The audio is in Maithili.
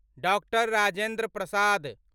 डॉक्टर राजेन्द्र प्रसाद